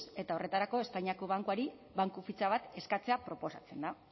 eta horretarako espainiako bankuari banku fitxa bat eskatzea proposatzen da